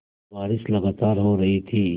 बारिश लगातार हो रही थी